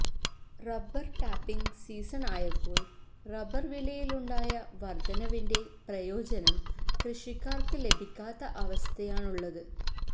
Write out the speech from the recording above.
rubber tapping സീസണായപ്പോള് rubber വിലയിലുണ്ടായ വര്ദ്ധനവിന്റെ പ്രയോജനം കൃഷിക്കാര്ക്ക് ലഭിക്കാത്ത അവസ്ഥയാണുള്ളത്